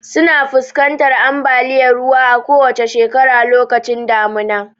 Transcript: Suna fuskantar ambaliyar ruwa a kowacce shekara lokacin damuna.